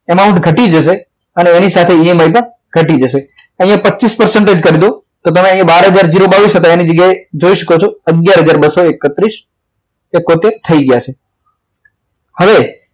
amount ઘટી જશે એની સાથે EMI પણ ઘટી જશે અહીંયા પર પચીસ કરી દો તો તમને બાર હજાર બાવીસ હતો એની જગ્યાએ જોઈ શકો છો અગયાર હજાર બસો એકત્રીસ થઈ ગયા છે હવે